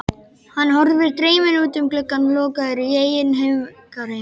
Hann horfir dreyminn út um gluggann, lokaður í eigin hugarheimi.